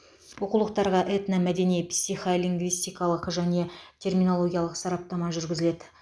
оқулықтарға этномәдени психолингвистикалық және терминологиялық сараптама жүргізіледі